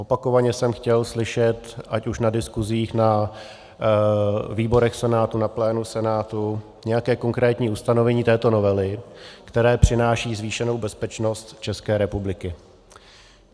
Opakovaně jsem chtěl slyšet ať už na diskusích na výborech Senátu, na plénu Senátu nějaké konkrétní ustanovení této novely, které přináší zvýšenou bezpečnost České republiky.